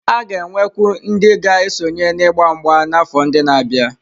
A ga-enwekwu ndị ga-esonye n'ịgba mgba n'afọ ndị na-abịa.